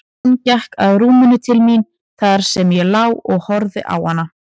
Hún gekk að rúminu til mín þar sem ég lá og horfði á hana.